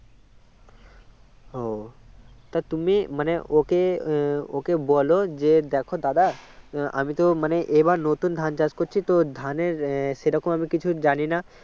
ও তা তুমি মানে ওকে ওকে বলো যে দেখ দাদা আমি তো মানে এবার নতুন ধান চাষ করছি তো ধানের সেরকম ভাবে কিছু জানি না